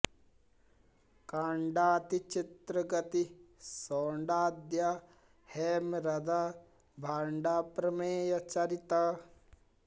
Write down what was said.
काण्डाति चित्र गति शौण्डाद्य हैमरद भाण्डा प्रमेय चरित